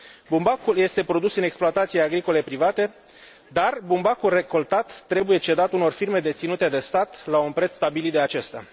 Bumbacul este produs în exploatații agricole private, dar bumbacul recoltat trebuie cedat unor firme deținute de stat la un preț stabilit de acesta.